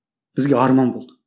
бізге арман болды